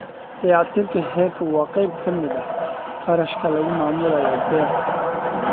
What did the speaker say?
Dayactirka heerka waa qayb ka mid ah kharashka lagu maamulayo beer.